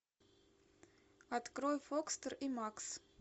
открой фокстер и макс